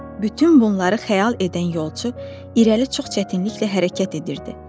Bütün bunları xəyal edən yolçu irəli çox çətinliklə hərəkət edirdi.